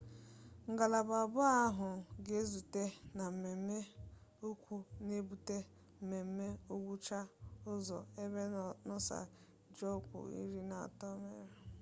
ngalaba abụọ ahụ ga-ezute na mmeme ukwu n'ebute mmeme ngwụcha ụzọ ebe noosa ji ọkpụ iri na otu emerie